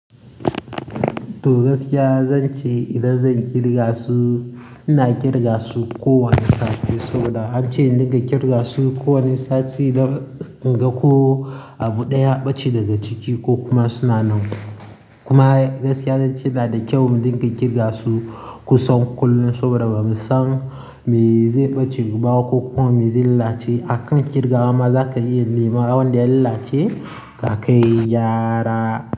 To gaskiya zan ce idan zan kirga su, ina kirga su kowane sati saboda an ce dinka kirga su kowane sati don in ga ko abu ɗaya ya ɓace daga ciki ko kuma suna nan. Kuma gaskiya zan ce na da kyau mu dinka kirga su kusan kullum saboda bamu san me zai ɓace guba ko kuma me zai lalace. Akan kirgawa ma zaka iya neman wan da ya lalace akai gyara.